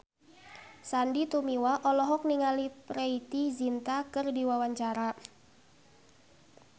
Sandy Tumiwa olohok ningali Preity Zinta keur diwawancara